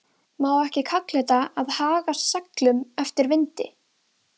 Má ekki kalla þetta að haga seglum eftir vindi?